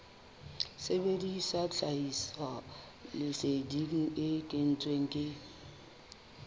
sebedisa tlhahisoleseding e kentsweng ke